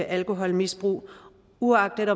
alkoholmisbrug uagtet